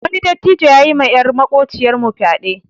Wani dattijo yayi ma yar makociyar mu fyaɗe.